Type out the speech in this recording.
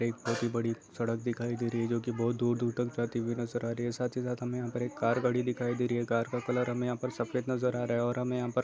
एक बहुत ही बड़ी सड़क दिखाई दे रही है जो के बहुत दूर-दूर तक जाती हुई नज़र आ रही है साथ ही साथ हमें यहाँ पर एक कार खड़ी दिखाई दे रही है कार का कलर हमें यहाँ पर सफेद नज़र आ रहा है और हमें यहाँ पर--